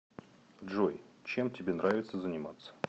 джой чем тебе нравится заниматься